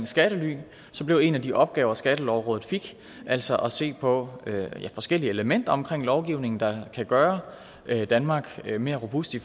skattely blev en af de opgaver skattelovrådet fik altså at se på forskellige elementer omkring lovgivningen der kan gøre danmark mere robust i